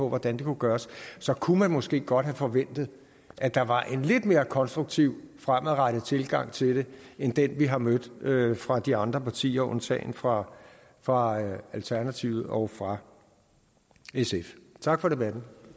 hvordan det kunne gøres så kunne man måske godt have forventet at der var en lidt mere konstruktiv og fremadrettet tilgang til det end den vi har mødt fra de andre partier undtagen fra fra alternativet og fra sf tak for debatten